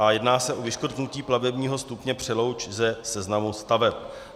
A jedná se o vyškrtnutí plavebního stupně Přelouč ze seznamu staveb.